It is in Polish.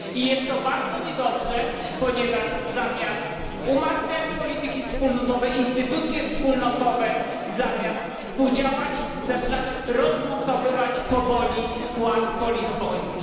Jest to bardzo niedobre, ponieważ zamiast umacniać polityki wspólnotowe, instytucje wspólnotowe, zamiast współdziałać, zaczynamy rozmontowywać powoli ład polizboński.